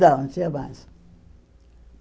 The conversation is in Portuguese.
tinha mais.